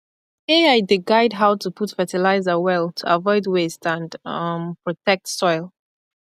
ai dey guide how to put fertilizer well to avoid waste and um protect soil